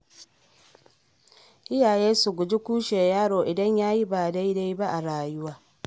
Iyaye su guji kushe yaro idan yayi ba dai-dai ba a rayuwa.